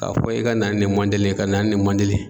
K'a fɔ e ka na ni nin mɔndɛli ye ka na ni nin mɔndɛli ye.